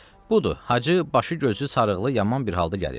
Budur, Hacı, başı gözü sarıqlı yaman bir halda gəlir.